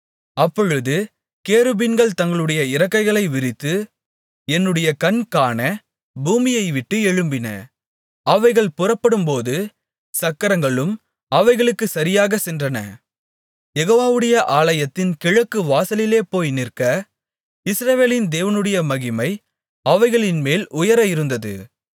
அப்பொழுது கேருபீன்கள் தங்களுடைய இறக்கைகளை விரித்து என்னுடைய கண் காண பூமியைவிட்டு எழும்பின அவைகள் புறப்படும்போது சக்கரங்களும் அவைகளுக்குச் சரியாகச் சென்றன யெகோவாவுடைய ஆலயத்தின் கிழக்கு வாசலிலே போய் நிற்க இஸ்ரவேலின் தேவனுடைய மகிமை அவைகளின்மேல் உயர இருந்தது